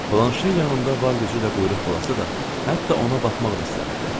Blanşe yanında var gücüylə quyruq bulasa da, hətta ona baxmaq da istəmirdi.